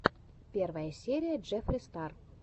первая серия джеффри стар